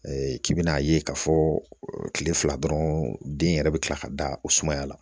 k'i bɛna a ye k'a fɔ kile fila dɔrɔn den yɛrɛ bɛ kila ka da o sumaya la